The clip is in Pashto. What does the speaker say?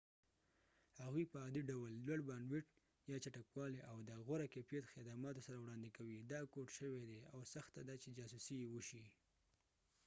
هغوی په عادي ډول لوړ بانډوېټ یا چټکوالی او د غوره کیفیت خدماتو سره وړاندې کوي دا کوډ شوي دي او سخته ده چې جاسوسي یې وشي